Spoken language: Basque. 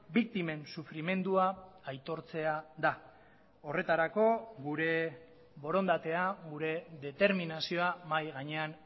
biktimen sufrimendua aitortzea da horretarako gure borondatea gure determinazioa mahai gainean